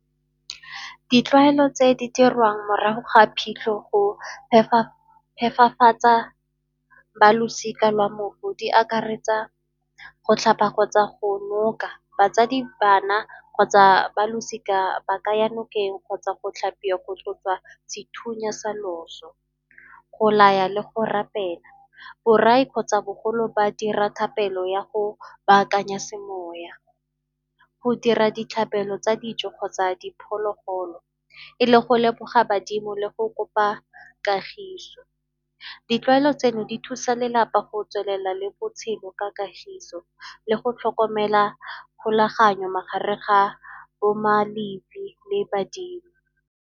Ditlwaelo tse di dirwang morago ga phitlho go phepafatsa ba losika lwa mohu, di akaretsa go tlhapa kgotsa go noka batsadi, bana kgotsa ba losika ba ka ya nokeng kgotsa go tlhapiwa go tloswa sethunya sa loso, go laya le go rapela. Borai kgotsa bogolo ba dira thapelo ya go baakanya semoya. Go dira ditlhabelo tsa dijo kgotsa diphologolo e le go leboga badimo le go kopa kagiso. Ditlwaelo tseno di thusa lelapa go tswelela le botshelo ka kagiso le go tlhokomela kgolaganyo magareng ga bo le badimo.